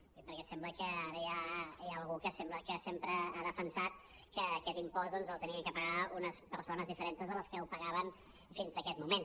ho dic perquè sembla que ara hi ha algú que sembla que sempre ha defensat que aquest impost l’havien de pagar unes persones diferentes de les que el pagaven fins a aquest moment